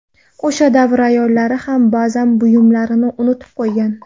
O‘sha davr ayollari ham ba’zan buyumlarini unutib qo‘ygan.